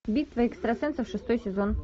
битва экстрасенсов шестой сезон